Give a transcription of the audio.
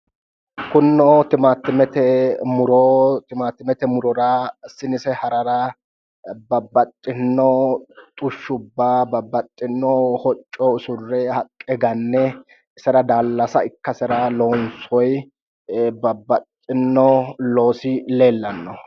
kunino timaattimete murora sinise harara babbaxxinno xushshubba babbaxxino hocco usurre haqqe ganne isera daallase ikkasera loonsoyi babbaxxiyo loosi leellanno